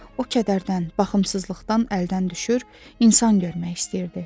O kədərdən, baxımsızlıqdan əldən düşür, insan görmək istəyirdi.